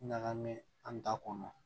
Ɲagamin an ta kɔnɔ